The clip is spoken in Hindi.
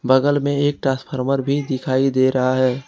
बगल में एक ट्रांसफार्मर भी दिखाई दे रहा है।